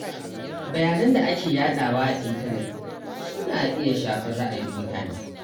Bayanan da ake yadawa a intanet suna iya shafar ra’ayin mutane.